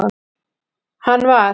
hann var.